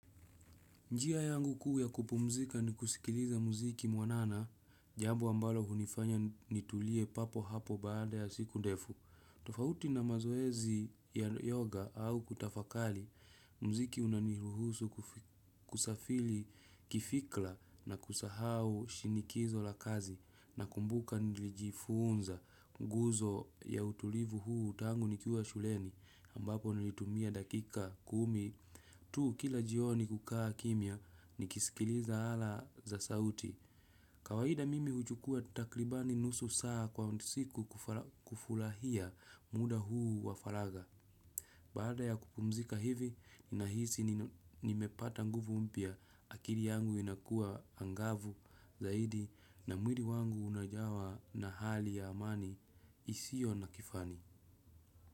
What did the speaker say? Njia yangu kuu ya kupumzika ni kusikiliza muziki mwanana, jambo ambalo hunifanya nitulie papo hapo baada ya siku ndefu. Tofauti na mazoezi ya yoga au kutafakali, muziki unaniruhusu kusafili kifikla na kusahau shinikizo la kazi nakumbuka nilijifunza nguzo ya utulivu huu tangu nikiwa shuleni ambapo nilitumia dakika kumi. Tu, kila jioni kukaa kimya, nikisikiliza ala za sauti. Kawaida mimi huchukua takribani nusu saa kwa siku kufulahia muda huu wa falaga. Baada ya kupumzika hivi, nahisi nimepata nguvu mpya akiri yangu inakua angavu zaidi na mwiri wangu unajawa na hali ya amani isio na kifani.